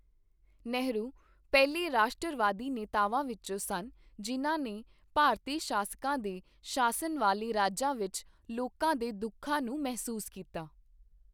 ਨਹਿਰੂ ਪਹਿਲੇ ਰਾਸ਼ਟਰਵਾਦੀ ਨੇਤਾਵਾਂ ਵਿੱਚੋਂ ਸਨ ਜਿਨ੍ਹਾਂ ਨੇ ਭਾਰਤੀ ਸ਼ਾਸਕਾਂ ਦੇ ਸ਼ਾਸਨ ਵਾਲੇ ਰਾਜਾਂ ਵਿੱਚ ਲੋਕਾਂ ਦੇ ਦੁੱਖਾਂ ਨੂੰ ਮਹਿਸੂਸ ਕੀਤਾ।